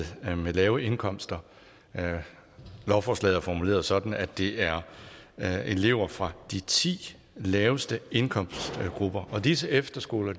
lave indkomster lovforslaget er formuleret sådan at det er er elever fra de ti laveste indkomstgrupper og disse efterskoler